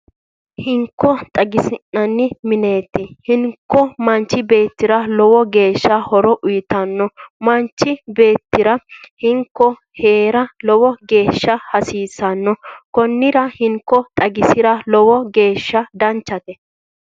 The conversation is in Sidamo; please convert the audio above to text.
Hinko xaginsaann mineeti hinko manchi beettira lowo geeshsha horo uuyitano manchi beettira hinko heera lowo geeshsha hasiissano konnira hinko xagisa lowo geeshsha danchate